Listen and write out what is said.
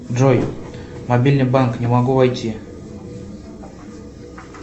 джой мобильный банк не могу войти